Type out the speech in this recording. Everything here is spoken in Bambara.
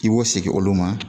I b'o segin olu ma